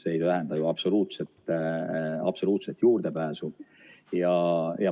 See ei tähenda ju absoluutset juurdepääsu.